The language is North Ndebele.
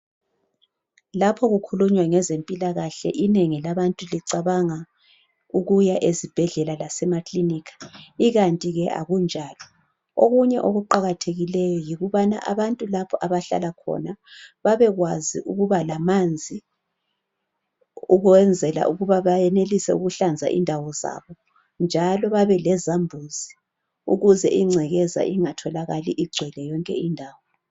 Lapho kukhulunywa ngezempilakahle inengi labantu licabanga ukuya ezibhedlela lasemakilinika, ikanti ke akunjalo. Okunye okuqakathekileyo yikubana abantu lapho abahlala khona babekwazi ukuba lamanzi ukwenzela ukuba bayenelise ukuhlanza indawo zabo, njalo babelezambuzi ukuze ingcekeza ingatholakali igcwele yonke indawo.